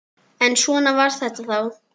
En svona var þetta þá.